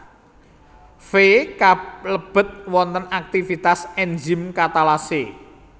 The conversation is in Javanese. Fe kalebet wonten aktivitas Enzim Katalase